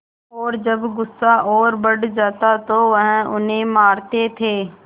और जब गुस्सा और बढ़ जाता तो वह उन्हें मारते थे